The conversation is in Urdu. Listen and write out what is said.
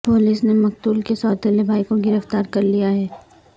پولیس نے مقتول کے سوتیلے بھائی کو گرفتار کر لیا ہے